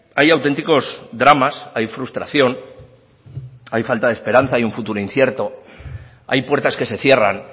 hay auténticos dramas hay frustración hay falta de esperanza hay un futuro incierto hay puertas que se cierran